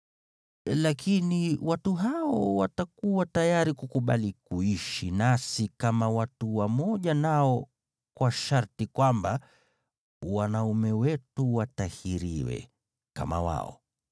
Lakini watu hao watakuwa tayari kukubali kuishi nasi kama watu wamoja nao kwa sharti kwamba wanaume wetu watahiriwe, kama wao.